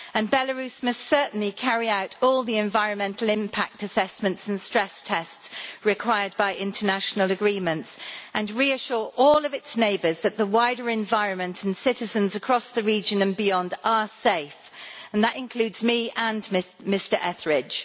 Belarus must certainly carry out all the environmental impact assessments and stress tests required by international agreements, and reassure all of its neighbours that the wider environment and citizens across the region and beyond are safe and that includes me and Mr Etheridge.